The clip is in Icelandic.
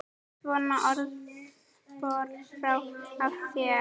Svona orðspor fór af þér.